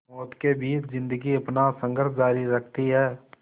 मौत के बीच ज़िंदगी अपना संघर्ष जारी रखती है